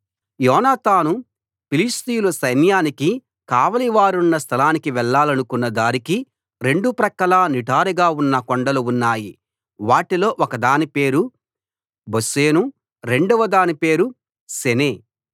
యోనాతాను ఫిలిష్తీయుల సైన్యానికి కావలి వారున్న స్థలానికి వెళ్ళాలనుకున్న దారికి రెండు ప్రక్కలా నిటారుగా ఉన్న కొండలు ఉన్నాయి వాటిలో ఒకదాని పేరు బొస్సేసు రెండవదాని పేరు సెనే